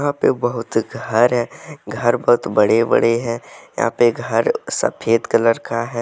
यहां पे बहुत घर हैं। घर बहुत बड़े-बड़े हैं। यहां पे घर सफेद कलर का है।